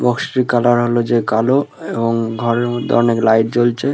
বক্সটির colour হলো যে কালো এবং ঘরের মধ্যে অনেক লাইট জ্বলছে।